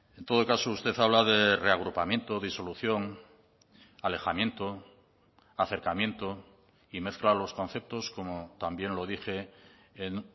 en todo caso usted habla de reagrupamiento disolución alejamiento acercamiento y mezcla los conceptos como también lo dije en